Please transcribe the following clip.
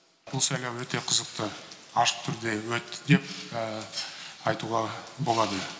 бұл сайлау өте қызықты ашық түрде өтті деп айтуға болады